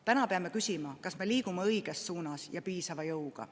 Täna peame küsima, kas me liigume õiges suunas ja piisava jõuga.